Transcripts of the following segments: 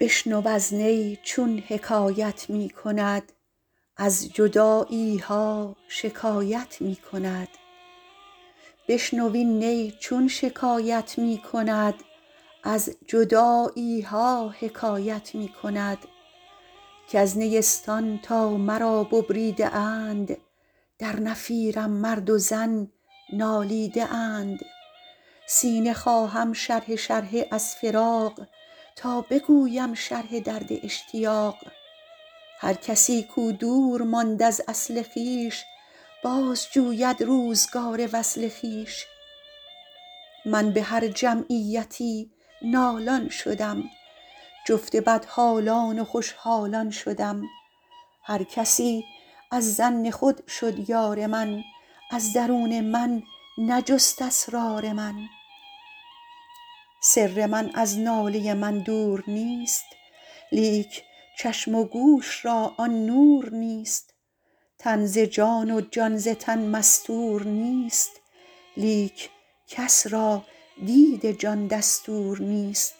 بشنو این نی چون شکایت می کند از جدایی ها حکایت می کند کز نیستان تا مرا ببریده اند در نفیرم مرد و زن نالیده اند سینه خواهم شرحه شرحه از فراق تا بگویم شرح درد اشتیاق هر کسی کو دور ماند از اصل خویش باز جوید روزگار وصل خویش من به هر جمعیتی نالان شدم جفت بدحالان و خوش حالان شدم هر کسی از ظن خود شد یار من از درون من نجست اسرار من سر من از ناله من دور نیست لیک چشم و گوش را آن نور نیست تن ز جان و جان ز تن مستور نیست لیک کس را دید جان دستور نیست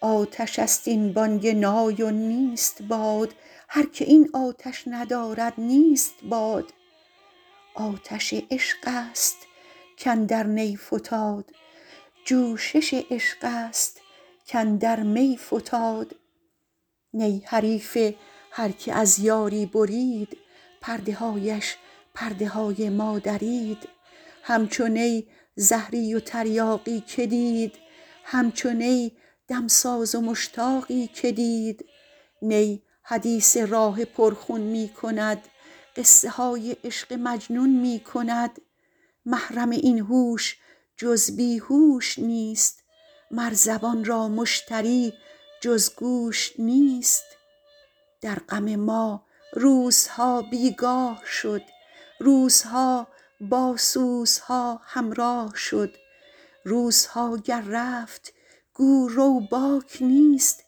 آتش است این بانگ نای و نیست باد هر که این آتش ندارد نیست باد آتش عشق است کاندر نی فتاد جوشش عشق است کاندر می فتاد نی حریف هر که از یاری برید پرده هایش پرده های ما درید همچو نی زهری و تریاقی که دید همچو نی دمساز و مشتاقی که دید نی حدیث راه پر خون می کند قصه های عشق مجنون می کند محرم این هوش جز بی هوش نیست مر زبان را مشتری جز گوش نیست در غم ما روزها بیگاه شد روزها با سوزها همراه شد روزها گر رفت گو رو باک نیست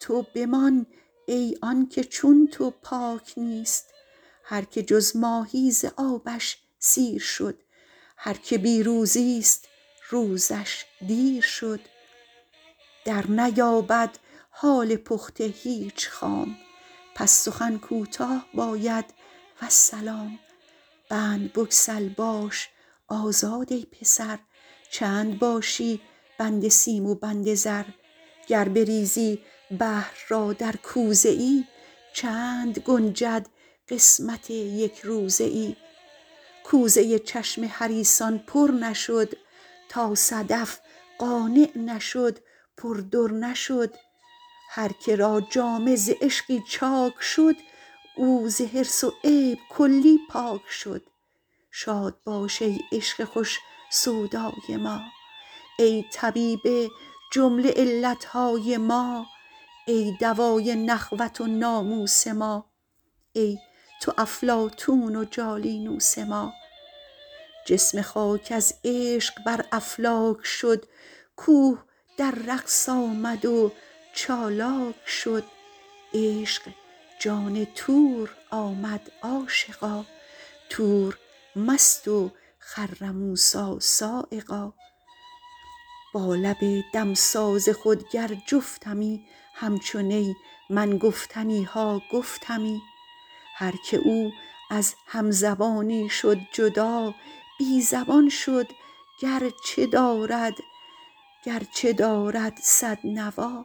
تو بمان ای آنکه چون تو پاک نیست هر که جز ماهی ز آبش سیر شد هر که بی روزی ست روزش دیر شد در نیابد حال پخته هیچ خام پس سخن کوتاه باید والسلام بند بگسل باش آزاد ای پسر چند باشی بند سیم و بند زر گر بریزی بحر را در کوزه ای چند گنجد قسمت یک روزه ای کوزه چشم حریصان پر نشد تا صدف قانع نشد پر در نشد هر که را جامه ز عشقی چاک شد او ز حرص و عیب کلی پاک شد شاد باش ای عشق خوش سودای ما ای طبیب جمله علت های ما ای دوای نخوت و ناموس ما ای تو افلاطون و جالینوس ما جسم خاک از عشق بر افلاک شد کوه در رقص آمد و چالاک شد عشق جان طور آمد عاشقا طور مست و خر موسیٰ‏ صعقا با لب دمساز خود گر جفتمی همچو نی من گفتنی ها گفتمی هر که او از هم زبانی شد جدا بی زبان شد گر چه دارد صد نوا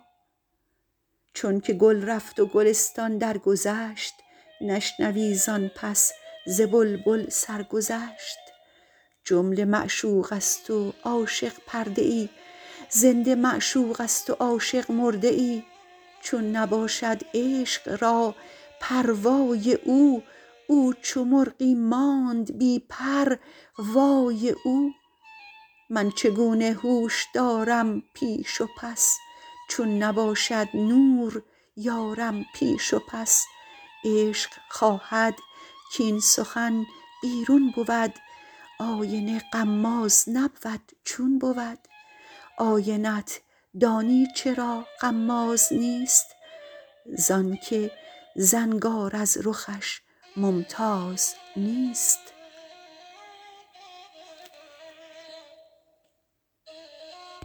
چون که گل رفت و گلستان درگذشت نشنوی زآن پس ز بلبل سرگذشت جمله معشوق است و عاشق پرده ای زنده معشوق است و عاشق مرده ای چون نباشد عشق را پروای او او چو مرغی ماند بی پر وای او من چگونه هوش دارم پیش و پس چون نباشد نور یارم پیش و پس عشق خواهد کاین سخن بیرون بود آینه غماز نبود چون بود آینه ت دانی چرا غماز نیست زآن که زنگار از رخش ممتاز نیست